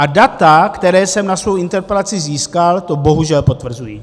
A data, která jsem na svoji interpelaci získal, to bohužel potvrzují.